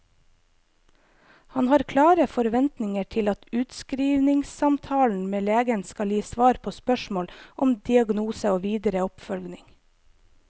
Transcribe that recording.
Han har klare forventninger til at utskrivningssamtalen med legen skal gi svar på spørsmål om diagnose og videre oppfølging.